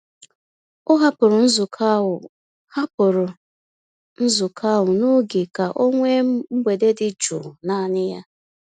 O hapụrụ nzukọ ahụ hapụrụ nzukọ ahụ n'oge ka o nwee mgbede dị jụụ naanị ya.